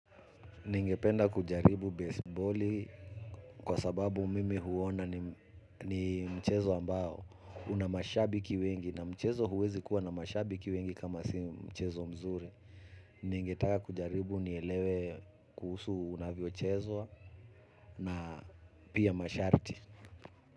Ningependa kujaribu baseballi kwa sababu mimi huona ni mchezo ambao una mashabiki wengi na mchezo huwezi kuwa na mashabiki wengi kama si mchezo mzuri. Ningetaka kujaribu nielewe kuhusu unavyochezwa na pia masharti.